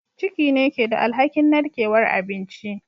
Ciki ne ke da alhakin narkewar abinci